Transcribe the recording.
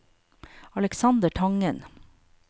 Aleksander Tangen